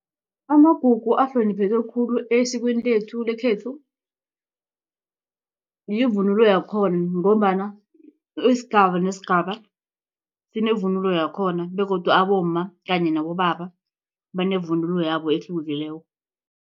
Amagugu ahlonipheke khulu esikweni lethu lekhethu yivunulo yakhona ngombana isigaba nesigaba sinevunulo yakhona begodu abomma kanye nabobaba banevunulo yabo ehlukileko.